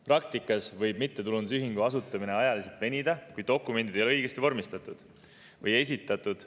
Praktikas võib mittetulundusühingu asutamine ajaliselt venida, kui dokumendid ei ole õigesti vormistatud või esitatud.